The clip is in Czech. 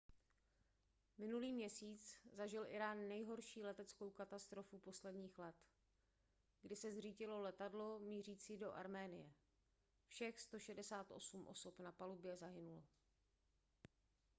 minulý měsíc zažil írán nejhorší leteckou katastrofu posledních let kdy se zřítilo letadlo mířící do arménie všech 168 osob na palubě zahynulo